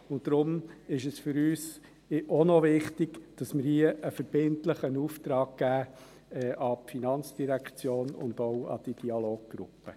Auch deshalb ist es für uns wichtig, dass wir hier einen verbindlichen Auftrag geben, an die FIN und auch an die Dialoggruppe.